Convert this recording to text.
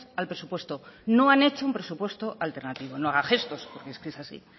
al presupuesto no han hecho un presupuesto alternativo no haga gestos porque es que es así